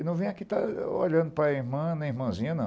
Eu não venho aqui para olhando para irmã nem para irmãzinha, não.